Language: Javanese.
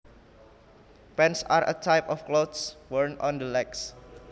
Pants are a type of cloths worn on the legs